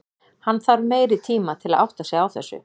Hann þarf meiri tima til að átta sig á þessu.